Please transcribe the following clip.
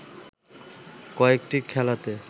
কয়েকটি খেলাতে